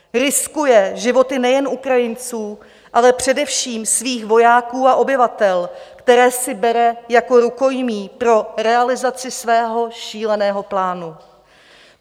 Riskuje životy nejen Ukrajinců, ale především svých vojáků a obyvatel, které si bere jako rukojmí pro realizaci svého šíleného plánu.